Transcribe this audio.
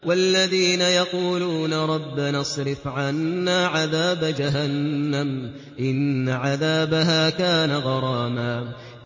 وَالَّذِينَ يَقُولُونَ رَبَّنَا اصْرِفْ عَنَّا عَذَابَ جَهَنَّمَ ۖ إِنَّ عَذَابَهَا كَانَ غَرَامًا